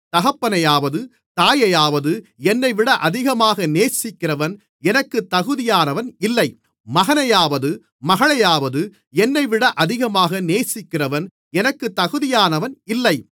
தகப்பனையாவது தாயையாவது என்னைவிட அதிகமாக நேசிக்கிறவன் எனக்கு தகுதியானவன் இல்லை மகனையாவது மகளையாவது என்னைவிட அதிகமாக நேசிக்கிறவன் எனக்கு தகுதியானவன் இல்லை